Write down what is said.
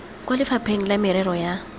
kwa lefapheng la merero ya